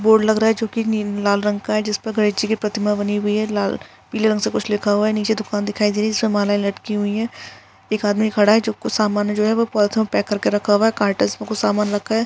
Board लग रहा है चुकी नी लाल रंग का है जिसपे गणेश जी की प्रतिमा बनी हुई है लाल पीले रंग से कुछ लिखा हुआ है नीचे दुकान दिखाई दे रही है समाने लटकी हुई है एक आदमी खड़ा हे जो कुछ सामने जो है ओ पॉलिथीन मे पेक करके रखा है कार्टस मे कुछ सामान रखा है।